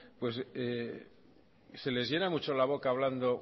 se les llena mucho la boca hablando